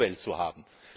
Umwelt zu haben.